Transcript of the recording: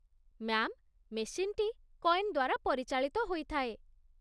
Ma'am ମେସିନ୍‌ଟି coin ଦ୍ୱାରା ପରିଚାଳିତ ହୋଇଥାଏ।